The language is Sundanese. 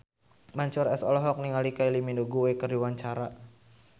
Mansyur S olohok ningali Kylie Minogue keur diwawancara